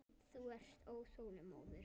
Þú ert óþolinmóður.